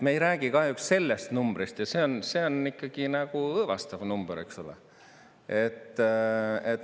Me ei räägi kahjuks sellest numbrist ja see on ikkagi nagu õõvastav number, eks ole.